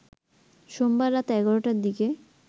সোমবার রাত ১১টার দিকে